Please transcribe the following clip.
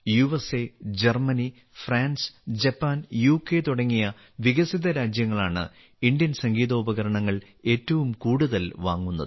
USA Germany France Japan UK തുടങ്ങിയ വികസിത രാജ്യങ്ങളാണ് ഇന്ത്യൻ സംഗീതോപകരണങ്ങൾ ഏറ്റവും കൂടുതൽ വാങ്ങുന്നത്